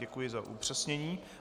Děkuji za upřesnění.